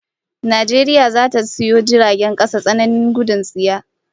Najeriya zata sayo jiragen kasa tsananin gudun tsiya